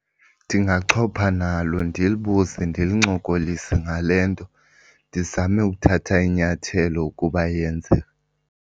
Ndingachopha nalo ndilibuze ndilincokolise ngale nto, ndizame ukuthatha inyathelo ukuba iyenzeka.